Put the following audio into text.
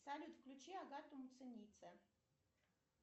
салют включи агату муценице